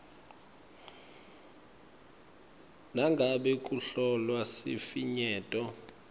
nangabe kuhlolwa sifinyeto